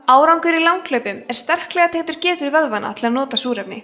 árangur í langhlaupum er sterklega tengdur getu vöðvanna til að nota súrefni